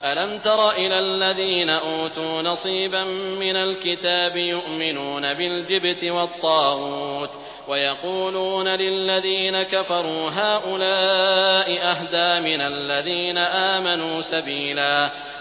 أَلَمْ تَرَ إِلَى الَّذِينَ أُوتُوا نَصِيبًا مِّنَ الْكِتَابِ يُؤْمِنُونَ بِالْجِبْتِ وَالطَّاغُوتِ وَيَقُولُونَ لِلَّذِينَ كَفَرُوا هَٰؤُلَاءِ أَهْدَىٰ مِنَ الَّذِينَ آمَنُوا سَبِيلًا